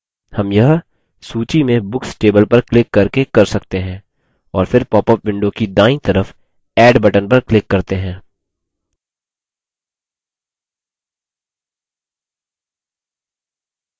हम यह सूची में books table पर क्लिक करके कर सकते हैं और फिर पॉपअप window की दायीं तरफ add button पर क्लिक करते हैं